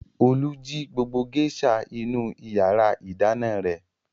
Olú jí gbogbo géíṣà inú ìyàrá-ìdáná rẹ̀.